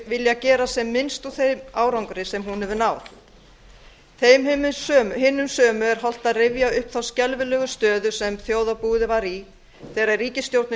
vilja gera sem minnst úr þeim árangri sem hún hefur náð þeim hinum sömu er hollt að rifja upp þá skelfilegu stöðu sem þjóðarbúið var í þegar ríkisstjórnin